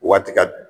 Waati ka